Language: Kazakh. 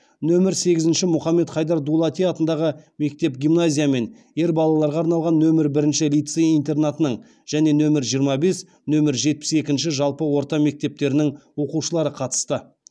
нөмір сегізінші мұхаммед хайдар дулати атындағы мектеп гимназия мен ер балаларға арналған нөмір бірінші лицей интернатының және нөмір жиырма бес нөмір жетпіс екінші жалпы орта мектептерінің оқушылары қатысты